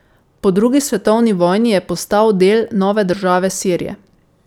Po drugi svetovni vojni je postal del nove države Sirije.